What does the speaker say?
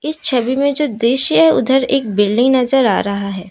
छवि में जो दृश्य है उधर एक बिल्डिंग नजर आ रहा है।